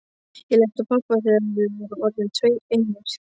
Ég leit á pabba þegar við vorum orðnir tveir einir.